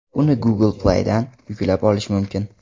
Uni Google Play’dan yuklab olish mumkin.